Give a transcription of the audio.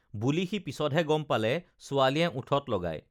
বুলি সি পিছতহে গম পালে ছোৱালীয়ে ওঠত লগায়